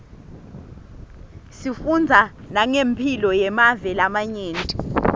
sifundza nangemphilo yemave lamanye